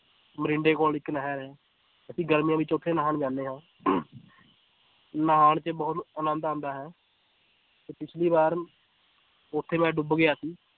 ਮਰਿੰਡੇ ਕੋਲ ਇੱਕ ਨਹਿਰ ਹੈ ਅਸੀਂ ਗਰਮੀਆਂ ਵਿੱਚ ਉੱਥੇ ਨਹਾਉਣ ਜਾਂਦੇ ਹਾਂ ਨਹਾਉਣ ਚ ਬਹੁਤ ਆਨੰਦ ਆਉਂਦਾ ਹੈ ਤੇ ਪਿੱਛਲੀ ਵਾਰ ਉੱਥੇ ਮੈਂ ਡੁੱਬ ਗਿਆ ਸੀ